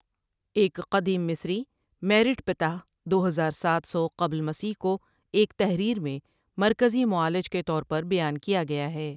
ایک قدیم مصری، میرٹ پتاہ دو ہزار ساتھ سو قبل مسیح کو ایک تحریر میں مرکزی معالج کے طور پر بیان کیا گیا ہے۔